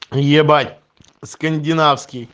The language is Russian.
ебать скандинавский